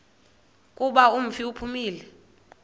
kuba umfi uphumile